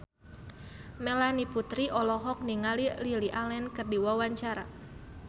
Melanie Putri olohok ningali Lily Allen keur diwawancara